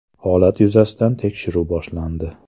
Holat yuzasidan tekshiruv boshlandi.